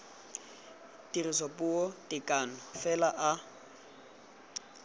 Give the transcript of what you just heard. tirisopuo ka tekano fela a